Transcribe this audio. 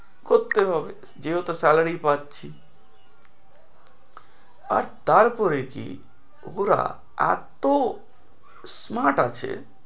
করতে হবে যেহেতু salary পাচ্ছি আর তারপরে কি ওরা এত্তো smart আছে,